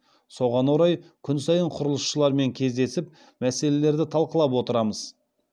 соған орай күн сайын құрылысшылармен кездесіп мәселелерді талқылап отырамыз